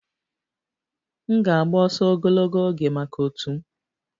M ga-agba ọsọ ogologo oge maka otu m